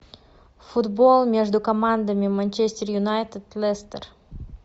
футбол между командами манчестер юнайтед лестер